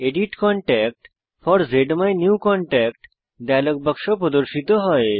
edit contact for জ্মাইনিউকনট্যাক্ট dialog বাক্স প্রদর্শিত হয়